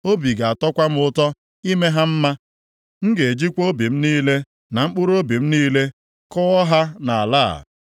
Obi ga-atọkwa m ụtọ ime ha mma; m ga-ejikwa obi m niile, na mkpụrụobi m niile kụọ ha nʼala a.